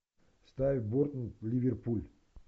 ставь борнмут ливерпуль